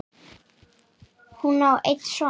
Hún á einn son.